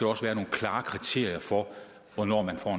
også være nogle klare kriterier for hvornår man får